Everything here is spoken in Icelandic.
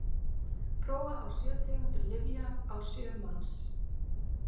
prófa á sjö tegundir lyfja á sjö manns